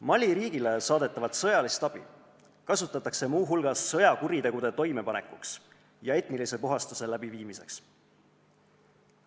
Mali riigile saadetavat sõjalist abi kasutatakse muu hulgas sõjakuritegude toimepanemiseks ja etnilise puhastuse läbiviimiseks.